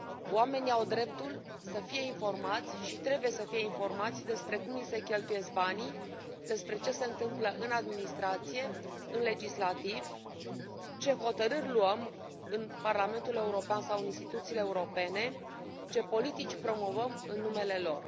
Oamenii au dreptul să fie informați și trebuie să fie informați despre cum li se cheltuiesc banii, despre ce se întâmplă în administrație, în legislativ, ce hotărâri luăm în Parlamentul European sau în instituțiile europene, ce politici promovăm în numele lor.